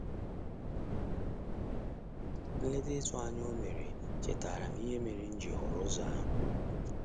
Nleta ịtụnanya o mere chetaara m ihe mere m ji họrọ ụzọ ahu.